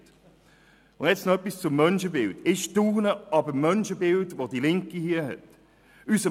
Nun noch etwas zum Menschenbild: Ich staune ob dem Menschenbild, das die Linke hier hat.